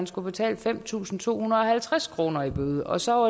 skulle betale fem tusind to hundrede og halvtreds kroner i bøde og så